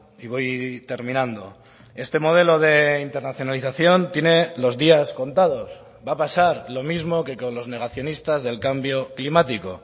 y voy terminando este modelo de internacionalización tiene los días contados va a pasar lo mismo que con los negacionistas del cambio climático